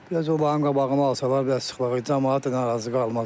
Bir az onların qabağını alsalar, biraz sıxlıq, camaat da narazı qalmaz.